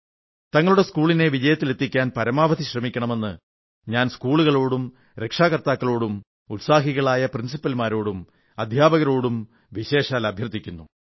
തങ്ങളുടെ സ്കൂളിനെ വിജയത്തിലെത്തിക്കാൻ പരമാവധി ശ്രമിക്കണമെന്ന് ഞാൻ സ്കൂളുകളോടും രക്ഷാകർത്താക്കളോടും ഉത്സാഹികളായ പ്രിൻസിപ്പൽമാരോടും അധ്യാപകരോടും വിശേഷാൽ അഭ്യർഥിക്കുന്നു